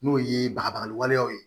N'o ye baga waleyaw ye